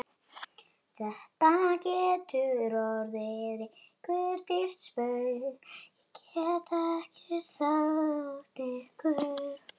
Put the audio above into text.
Þetta getur orðið ykkur dýrt spaug, get ég sagt ykkur!